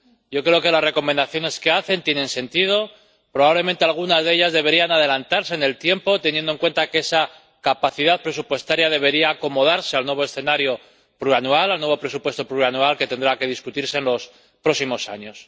Yo creo que las recomendaciones que hacen tienen sentido probablemente algunas de ellas deberían adelantarse en el tiempo, teniendo en cuenta que esa capacidad presupuestaria debería acomodarse al nuevo escenario plurianual, al nuevo presupuesto plurianual, que tendrá que discutirse en los próximos años.